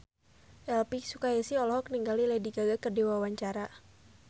Elvi Sukaesih olohok ningali Lady Gaga keur diwawancara